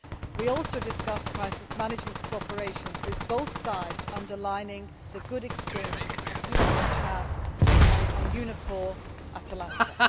We also discussed crisis management cooperation, with both sides underlining the good experiences of EUFOR Chad and EU Navfor Atalanta.